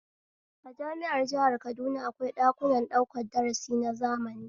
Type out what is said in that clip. A jami'ar jihar kaduna akwai ɗakunan ɗaukan darasi na zamani